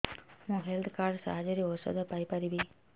ମୁଁ health card ସାହାଯ୍ୟରେ ଔଷଧ ପାଇ ପାରିବି